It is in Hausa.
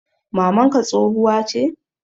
mamanka tsohuwa che?